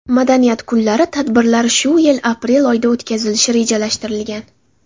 Madaniyat kunlari tadbirlari shu yil aprel oyida o‘tkazilishi rejalashtirilgan.